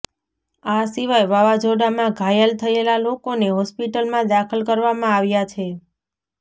આ સીવાય વાવાઝોડામાં ઘાયલ થયેલા લોકોને હોસ્પિટલમાં દાખલ કરવામાં આવ્યા છે